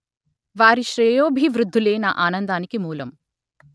వారి శ్రేయోభివృద్ధులే నా ఆనందానికి మూలం